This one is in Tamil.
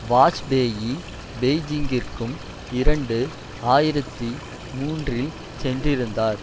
வாஜ்பேயி பெய்ஜிங்கிற்கும் இரண்டு ஆயிரத்தி மூன்றில் சென்றிருந்தார்